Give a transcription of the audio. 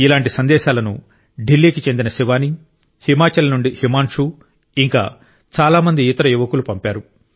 ఇలాంటి సందేశాలను ఢిల్లీ కి చెందిన శివానీ హిమాచల్ నుండి హిమాన్షు ఇంకా చాలా మంది ఇతర యువకులు పంపారు